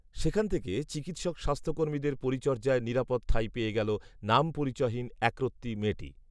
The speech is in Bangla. সেখান থেকে চিকিৎসক স্বাস্থ্যকর্মীদের পরিচর্যায় নিরাপদ ঠাঁই পেয়ে গেল নামপরিচয়হীন একরত্তি মেয়েটি